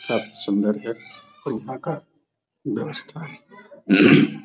सब सुन्दर घर है और यहाँ का व्यवस्था